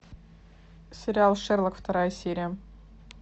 сериал шерлок вторая серия